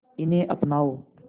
इन्हें अपनाओ